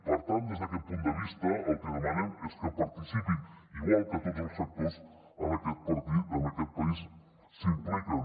per tant des d’aquest punt de vista el que demanem és que hi participin igual que tots els sectors en aquest país s’hi impliquen